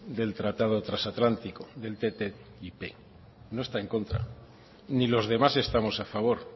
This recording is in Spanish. del tratado trasatlántico del ttip no está en contra ni los demás estamos a favor